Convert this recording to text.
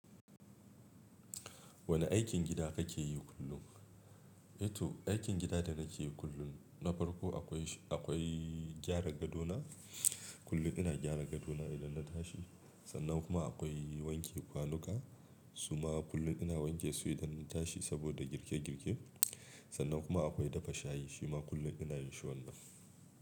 Wane aikin gida kake yi kullum? Eh to aikin gida da nake yi kullum, na farko akwai, akwai gyara gadona. Kullum ina gyara gadona idan na tashi. Sannan kuma akwai wanke kwanuka. Su ma kullum ina wanke su idan na tashi saboda girke girke. Sannan kuma akwai dafa shayi shima kullum ina yin shi wannan.